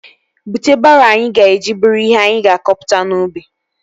Bute baroo anyị ga-eji buru ihe anyị ga-akọpụta n'ubi